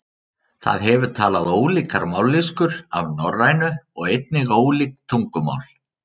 Það hefur talað ólíkar mállýskur af norrænu og einnig ólík tungumál.